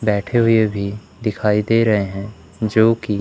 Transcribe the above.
बैठे हुए भी दिखाई दे रहे हैं जोकि--